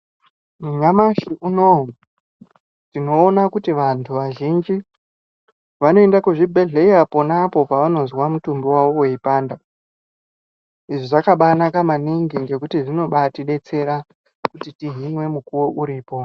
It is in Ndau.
Nyamashi unouyu tinoona kuti vantu vazhinji vanoenda kuzvibhedhlera ponapo pavanozwa mutumbi wawo weipanda izvi zvakabaanaka maningi ngekuti zvinobaatidetsera kuti tihinzwe mukuwo uripo .